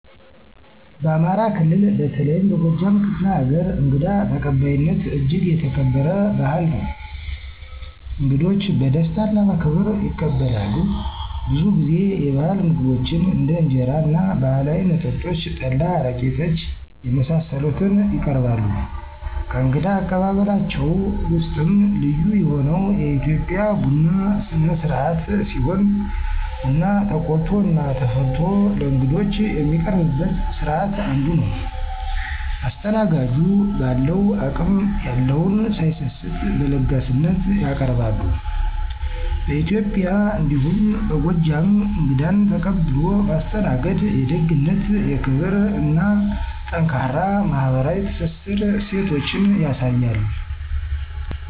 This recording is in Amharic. በአማራ ክልል በተለይም በጎጃም ክፍለ ሀገር እንግዳ ተቀባይነት እጅግ የተከበረ ባህል ነው። እንግዶች በደስታ እና በክብር ይቀበላሉ፣ ብዙ ጊዜ የባህል ምግቦችን እንደ እንጀራ እና ባህላዊ መጠጦች (ጠላ፣ አረቄ፣ ጠጅ) የመሳሰሉትን ይቀርባሉ። ከእንግዳ አቀባበላቸው ውስጥም ልዩ የሆነው የኢትዮጵያ ቡና ስነስርአት ሲሆን ቡና ተቆልቶ እና ተፈልቶ ለእንግዶች የሚቀርብበት ስርአት አንዱ ነው። አስተናጋጁን በአለው አቅም የለውን ሳይሰስት በለጋስነት ያቀርባሉ። በኢትዬጵያ እንዲሁም በጎጃም እንግዳን ተቀብሎ ማስተናገድ የደግነትን፣ የክብርን እና ጠንካራ ማህበራዊ ትስስር እሴቶችን ያሳያል።